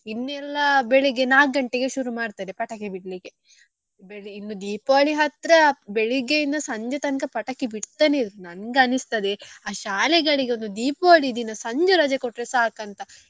ಇನ್ನೆಲ್ಲ ಬೆಳ್ಳಿಗೆ ನಾಲ್ಕು ಗಂಟೆಗೆ ಶುರು ಮಾಡ್ತಾರೆ ಪಟಾಕಿ ಬಿಡ್ಲಿಕ್ಕೆ ಇನ್ನೂ Deepavali ಹತ್ರ ಬೆಳ್ಳಿಗ್ಗೆಯಿಂದ ಸಂಜೆ ತನಕ ಪಟಾಕಿ ಬಿಡ್ತಾನೆ ಇರುದು ನಂಗೆ ಅನಿಸ್ತದೆ ಆ ಶಾಲೆಗಳಿಗೊಂದ್ Deepavali ದಿನ ಸಂಜೆ ರಜೆ ಕೊಟ್ರೆ ಸಾಕು ಅಂತ.